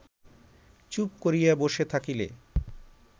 চুপ করিয়া বসে থাকিলে